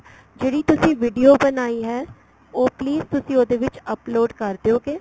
ਜਿਹੜੀ ਤੁਸੀਂ video ਬਣਾਈ ਹੈ ਉਹ please ਤੁਸੀਂ ਉਹਦੇ ਵਿੱਚ upload ਕਰ ਦਿਉਗੇ